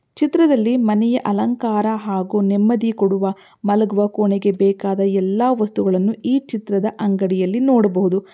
ಈ ಚಿತ್ರದಲ್ಲಿ ಮನೆಯ ಅಲಂಕಾರ ಹಾಗು ನೆಮ್ಮದಿ ಕೊಡುವ ಮಲಗುವ ಕೋಣೆಗೆ ಬೇಕಾದಯಲ್ಲ ವಾಸ್ತುಗಳನ್ನು ಈ ಚಿತ್ರದ ಅಂಗಡಿಯಲ್ಲಿ ನೋಡಬಹುದು.